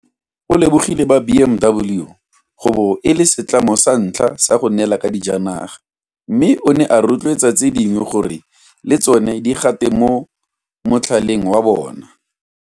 O lebogile ba BMW go bo e le setlamo sa ntlha go neelana ka dijanaga, mme o ne a rotloetsa tse dingwe gore le tsona di gate mo motlhaleng wa bona.